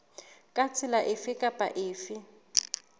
ka tsela efe kapa efe